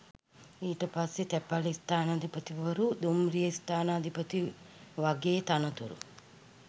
ඊට පස්සෙ තැපැල් ස්ථානාධිපතිවරු දුම්රිය ස්ථානාධිපති වගේ තනතුරු